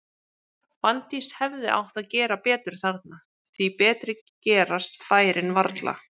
Fanndís hefði átt að gera betur þarna, því betri gerast færin varla.